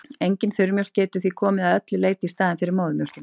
Engin þurrmjólk getur því komið að öllu leyti í staðinn fyrir móðurmjólkina.